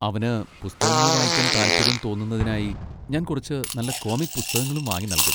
അവന് പുസ്തകങ്ങൾ വായിക്കാൻ താൽപര്യം തോന്നുന്നതിനായി ഞാൻ കുറച്ച് നല്ല കോമിക് പുസ്തകങ്ങളും വാങ്ങി നൽകും.